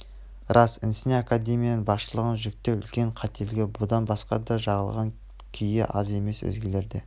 рас інісіне академияның басшылығын жүктеу үлкен қателгі бұдан басқа да жағылған күйе аз емес өзгелер де